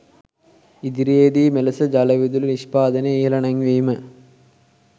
ඉදිරියේදී මෙලෙස ජලවිදුලි නිෂ්පාදනය ඉහළ නැංවීම